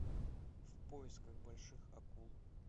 в поисках больших акул